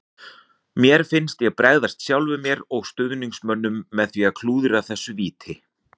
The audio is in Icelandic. Mér fannst ég bregðast sjálfum mér og stuðningsmönnunum með því að klúðra þessu víti.